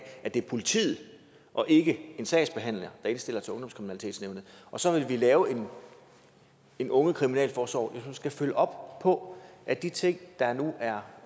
at det er politiet og ikke en sagsbehandler der indstiller til ungdomskriminalitetsnævnet og så vil vi lave en ungekriminalforsorg som skal følge op på at de ting der nu er